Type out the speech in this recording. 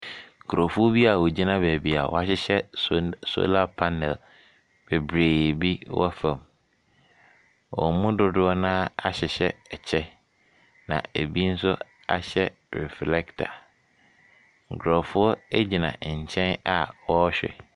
Nkurɔfoɔ bi a wɔgyina baabi a wɔahyehɛ sol solar panel bebree bi wɔ fam. Wɔn mu dodoɔ no ara ahyehyɛ kyɛ, na ebi nso ahyɛ reflector, nkurɔfoɔ gyina nkyɛn a wɔrehwɛ.